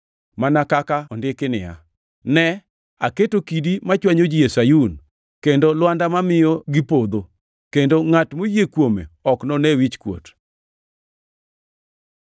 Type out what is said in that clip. Mana kaka ondiki niya, “Ne, aketo kidi machwanyo ji e Sayun kendo lwanda mamiyo gipodho, kendo ngʼat moyie kuome ok none wichkuot.” + 9:33 \+xt Isa 8:14; 28:16\+xt*